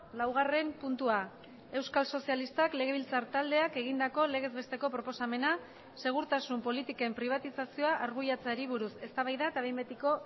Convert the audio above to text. laugarren puntua euskal sozialistak legebiltzar taldeak egindako legez besteko proposamena segurtasun politiken pribatizazioa arbuiatzeari buruz eztabaida eta behin betiko